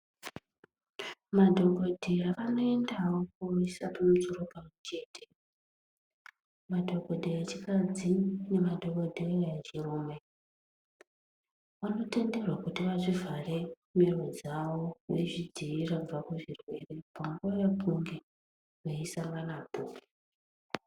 Madhokodheya anoendawo koisa musoro pamwechete madhokodheya echikadzi nemadhokhodheya echirume vanotenderwa kuti vazvivhare mhiro dzavo veizvidziirira kubva kuzvirwere pavanenge veinesanapo.